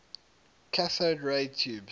cathode ray tubes